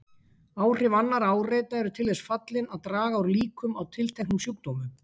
Áhrif annarra áreita eru til þess fallin að draga úr líkum á tilteknum sjúkdómum.